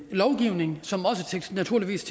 lovgivning som naturligvis